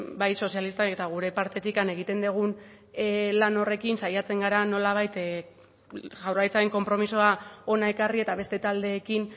bai sozialistak eta gure partetik egiten dugun lan horrekin saiatzen gara nolabait jaurlaritzaren konpromisoa hona ekarri eta beste taldeekin